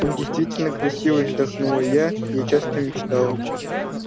он действительно красивый вздохнула я я часто мечтала